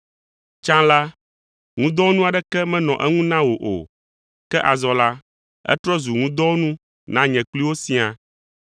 Tsã la, ŋudɔwɔnu aɖeke menɔ eŋu na wò o, ke azɔ la, etrɔ zu ŋudɔwɔnu na nye kpli wò siaa.